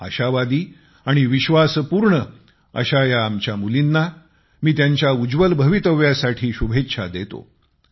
आशावादी आणि विश्वासपूर्ण अशा या आमच्या मुलींना मी त्यांच्या उज्ज्वल भवितव्यासाठी शुभेच्छा देतो